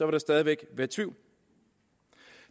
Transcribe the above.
der stadig væk være tvivl